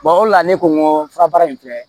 o de la ne ko n ko furabaara in filɛ